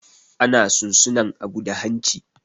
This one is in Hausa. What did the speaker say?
Ana sun suna abu da hanci.